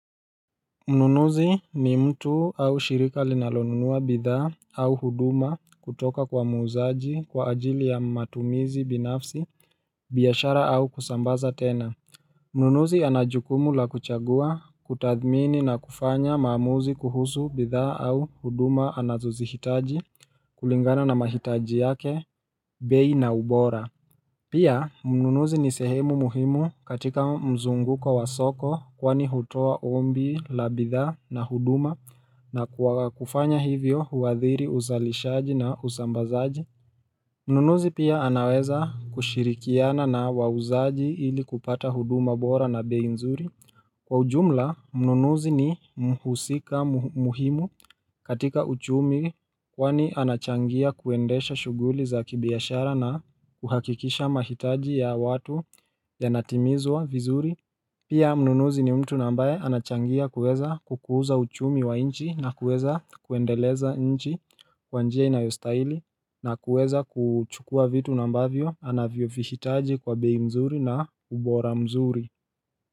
Mnunuzi ni mtu au shirika linalonunua bidhaa au huduma kutoka kwa muuzaji kwa ajili ya matumizi binafsi biashara au kusambaza tena Mnunuzi anajukumu la kuchagua kutathmini na kufanya maamuzi kuhusu bidhaa au huduma anazozihitaji kulingana na mahitaji yake bei na ubora Pia, mnunuzi ni sehemu muhimu katika mzunguko wasoko kwani hutoa ombi, la bidhaa na huduma na kufanya hivyo huadhiri uzalishaji na uzambazaji. Mnunuzi pia anaweza kushirikiana na wauzaji ili kupata huduma bora na bei nzuri. Kwa ujumla, mnunuzi ni mhusika muhimu katika uchumi kwani anachangia kuendesha shuguli za kibiashara na kuhakikisha mahitaji ya watu ya natimizwa vizuri Pia mnunuzi ni mtu na ambaye anachangia kueza kukuza uchumi wa nchi na kuweza kuendeleza nchi kwa njia inayostaili na kuweza kuchukua vitu nambavyo anavyo vihitaji kwa bei mzuri na ubora mzuri.